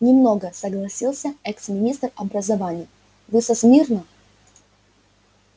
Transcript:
не много согласился экс-министр образования вы со смирно